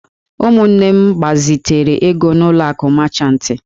Ụmụnne m gbazitere ego n'ụlọ akụ mechantị.